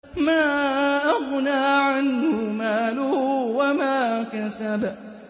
مَا أَغْنَىٰ عَنْهُ مَالُهُ وَمَا كَسَبَ